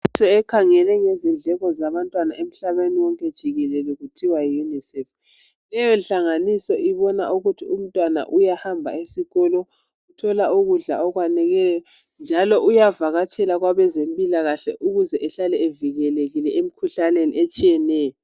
Inhlanganiso ekhangele ngezindleko zabantwana emhlabeni wonke jikelele kuthiwa yiUnicef. Leyo nhlanganiso ibona ukuthi umntwana uyahamba esikolo uthola ukudla okwaneleyo njalo uyavakatshela kwabezempilakahle ukuze ehlale evikelekile emikhuhlaneni etshiyeneyo.